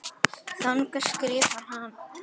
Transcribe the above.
Þaðan skrifar hann